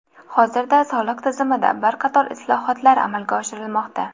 Hozirda soliq tizimida bir qator islohotlar amalga oshirilmoqda.